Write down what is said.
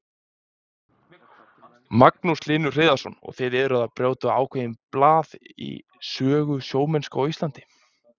Magnús Hlynur Hreiðarsson: Og þið eruð að brjóta ákveðið blað í sögu sjómennsku á Íslandi?